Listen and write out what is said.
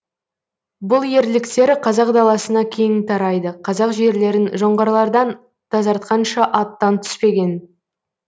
бұл ерліктері қазақ даласына кең тарайды қазақ жерлерін жоңғарлардан тазартқанша аттан түспеген